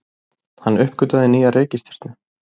Hann uppgötvaði nýja reikistjörnu!